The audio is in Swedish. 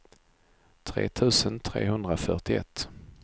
tre tusen trehundrafyrtioett